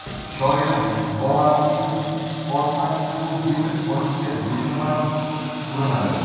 Shoir Volandning ortdan quvib yetib olishga besamar urinadi.